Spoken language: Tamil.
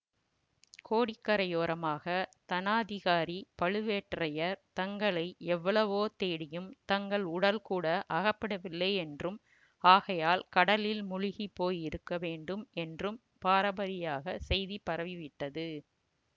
கோடிக்கரையோரமாக தனாதிகாரி பழுவேட்டரையர் தங்களை எவ்வளவோ தேடியும் தங்கள் உடல்கூட அகப்படவில்லையென்றும் ஆகையால் கடலில் முழுகி போயிருக்க வேண்டும் என்றும் பராபரியாகச் செய்தி பரவிவிட்டது